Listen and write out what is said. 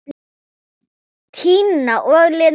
Tina og Linda.